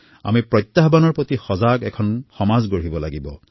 আমি এক ক্ষতিশংকা সচেতন সমাজ হব লাগিব